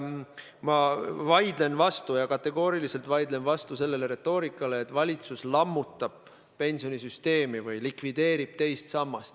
Ma vaidlen kategooriliselt vastu sellele retoorikale, et valitsus lammutab pensionisüsteemi või likvideerib teist sammast.